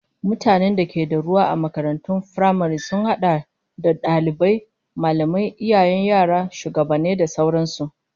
Mutanen da ke da ruwa a makarantun firamare sun hada da dalibai, mallamai, iyayen yara, shugabanni da sauran su